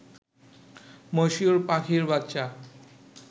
মশিউর পাখির বাচ্চা